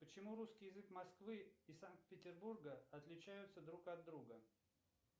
почему русский язык москвы и санкт петербурга отличаются друг от друга